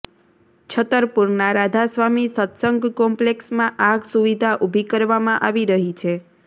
છતરપુરના રાધા સ્વામી સતસંગ કોમ્પલેક્ષમાં આ સુવિધા ઉભી કરવામાં આવી રહી છે